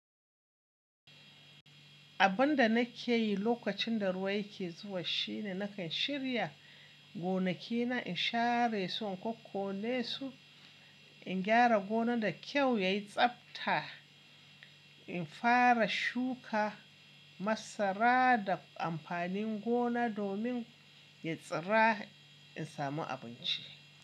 Abin da na ke yi lokacin da ruwa yake zuwa shine na kan shirya gonaki na, in share su in kokkone su. In gyara gona da kyau ya yi tsabta, in fara shuka masara da amfanin gona domin ya tsira in samu abinci.